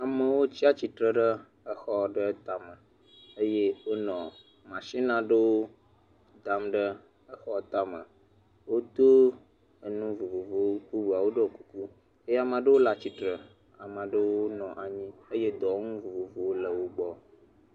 Amewo tsa tsi tre ɖe exɔ ɖewo tame. Eye wonɔ mashini aɖewo dam ɖe exɔ aɖewo tame. Wodo enu vovovowo. Bubuawo ɖɔ kuku. Eye amaa ɖewo le atsi tre. Amaa ɖewo nɔ anyi eye dɔwɔnu vovovowo le wogbɔ.